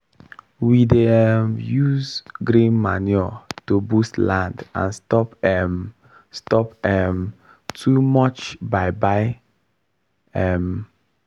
we dey um use green manure to boost land and stop um stop um too much buy buy. um